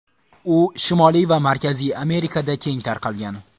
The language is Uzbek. U Shimoliy va Markaziy Amerikada keng tarqalgan.